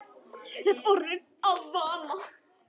Þetta er orðið að vana.